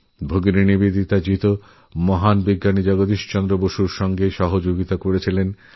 ভগিনীনিবেদিতা মহান বিজ্ঞানী জগদীশ চন্দ্র বসুকেও নানা ভাবে সাহায্য করেছিলেন